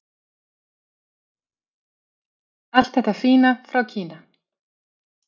Allt þetta fína frá Kína!